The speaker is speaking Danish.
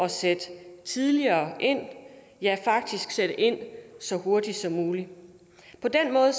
sætte tidligere ind ja faktisk sætte ind så hurtigt som muligt på den måde